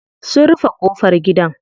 Sun rufe ƙofar gidan.